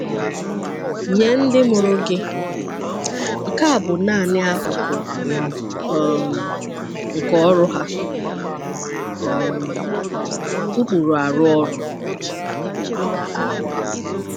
Nye ndị mụrụ gị, nke a bụ nanị akụkụ um nke ọrụ ha – um ụkpụrụ arụ ọrụ.